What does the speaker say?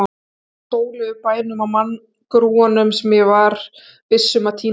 Það var sól yfir bænum og manngrúanum, sem ég var viss um að týnast í.